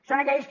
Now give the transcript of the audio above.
són aquells que